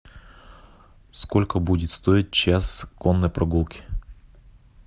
сколько будет стоить час конной прогулки